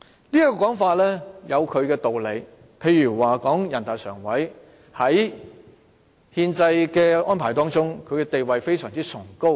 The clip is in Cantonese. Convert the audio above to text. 這種說法有其道理，例如人大常委會在憲制中的地位非常崇高。